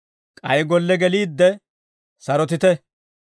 K'ay golle geliidde sarotite.